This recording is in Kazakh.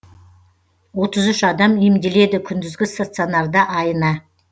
отыз үш адам емделеді күндізгі стационарда айына